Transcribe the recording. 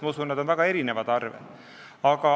Ma usun, et need on väga erinevad arved.